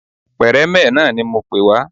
Pẹ̀rẹ́mẹ̀ náà ni mo pè wá